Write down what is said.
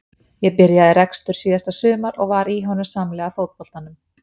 Ég byrjaði rekstur síðasta sumar og var í honum samhliða fótboltanum.